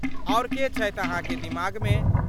आओर के छथि अहाँक दिमागमे?